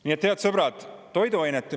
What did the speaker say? Nii et, head sõbrad, toiduainete …